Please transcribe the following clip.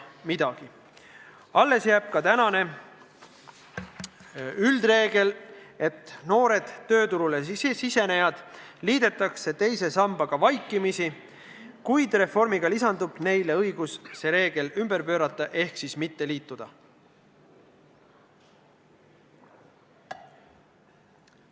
Samuti jääb alles tänane üldreegel, et noored tööturule sisenejad liidetakse teise sambaga vaikimisi, kuid reformiga antakse neile õigus see reegel ümber pöörata ehk mitte liituda.